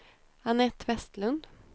Annette Vestlund